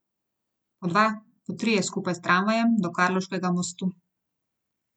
Po dva, po trije skupaj s tramvajem do Karlovškega mostu.